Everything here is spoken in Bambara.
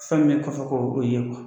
Fɛn min ye kɔfɛ ko o ye